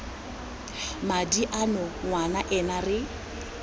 madi ano ngwana ena re